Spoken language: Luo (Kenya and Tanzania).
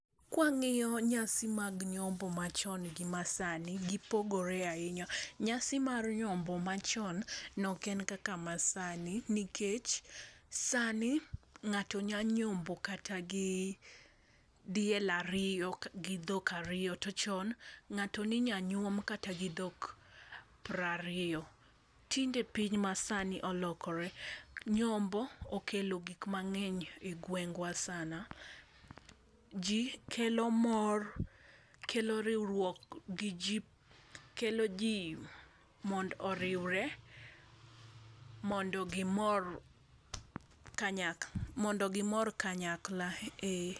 kwanyiso nyasi mag nyombo machon gi masani, gipogore ahinya, nyasi ar nyombo machon nok en kaka masani nikech sani ng'ato nyalo nyombo kata gi diel ariyo gi dhok ariyo to chon ng'ato ni nyalo nyuom kata go dho piero ariyo, tinde piny masani olokore, nyombo okelo gik mang'eny e gwengwa sana ji jkelo mor kelo riwruok kelo ji mondo oriwre mondo gimor kanyakla ei..